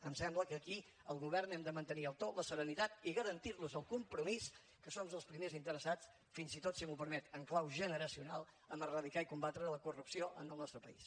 em sembla que aquí el govern hem de mantenir el to la serenitat i garantir los el compromís que som els primers interessats fins i tot si m’ho permet en clau generacional en erradicar i combatre la corrupció en el nostre país